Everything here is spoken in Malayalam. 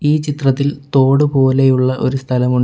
ഈ ചിത്രത്തിൽ തോട് പോലെയുള്ള ഒരു സ്ഥലമു --